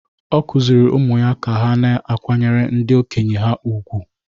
Ọ kụziiri ụmụ ya ka ha na-akwanyere ndị okenye ha ùgwù.